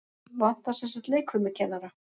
Vantar semsagt leikfimikennara?